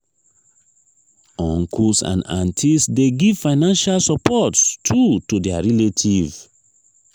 uncles and aunties de give financial support too to their relative